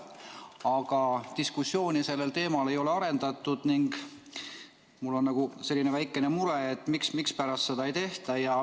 Aga diskussiooni sellel teemal ei ole arendatud ning mul on väikene mure, mispärast seda ei tehta.